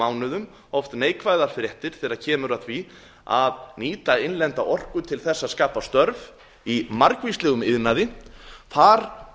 mánuðum oft neikvæðar fréttir þegar kemur að því að nýta innlenda orku til að skapa störf í margvíslegum iðnaði þar